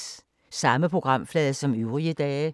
Samme programflade som øvrige dage